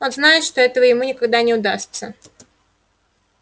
он знает что этого ему никогда не удастся